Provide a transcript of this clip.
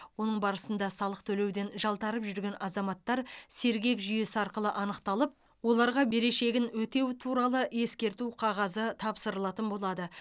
оның барысында салық төлеуден жалтарып жүрген азаматтар сергек жүйесі арқылы анықталып оларға берешегін өтеу туралы ескерту қағазы тапсырылатын болады